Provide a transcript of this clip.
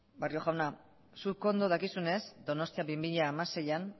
barrio jauna zuk ondo dakizunez donostia bi mila hamaseian